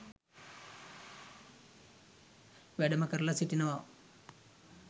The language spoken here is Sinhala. වැඩම කරලා සිටිනවා.